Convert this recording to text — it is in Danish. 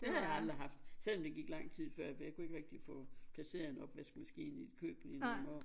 Det har jeg aldrig haft selvom der gik lang tid før jeg fik fordi jeg kunne ikke rigtigt få placeret en opvaskemaskine i et køkken i nogen år